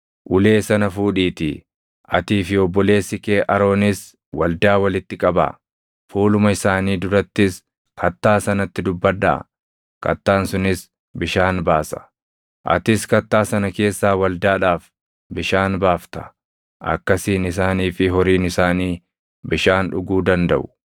“Ulee sana fuudhiitii, atii fi obboleessi kee Aroonis waldaa walitti qabaa. Fuuluma isaanii durattis kattaa sanatti dubbadhaa; kattaan sunis bishaan baasa. Atis kattaa sana keessaa waldaadhaaf bishaan baafta; akkasiin isaanii fi horiin isaanii bishaan dhuguu dandaʼu.”